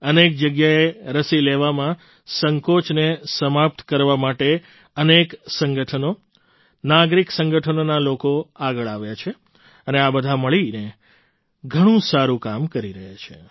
અનેક જગ્યાએ રસી લેવામાં સંકોચને સમાપ્ત કરવા માટે અનેક સંગઠનો નાગરિક સંગઠનોના લોકો આગળ આવ્યા છે અને બધા મળીને ઘણું સારું કામ કરી રહ્યા છે